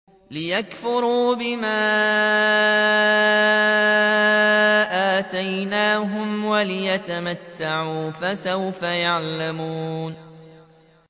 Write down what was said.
لِيَكْفُرُوا بِمَا آتَيْنَاهُمْ وَلِيَتَمَتَّعُوا ۖ فَسَوْفَ يَعْلَمُونَ